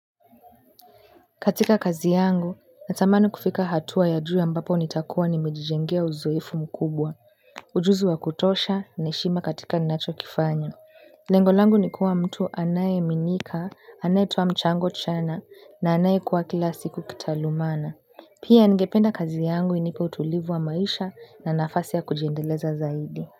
Katika kazi yangu, natamani kufika hatua ya juu ambapo nitakuwa nimejijengea uzoefu mkubwa ujuzi wa kutosha, na heshima katika ninachokifanya lengo langu ni kuwa mtu anayeaminika, anayetoa mchango chanya, na anayekua kila siku kitaaluma pia ningependa kazi yangu inipe utulivu wa maisha na nafasi ya kujiendeleza zaidi.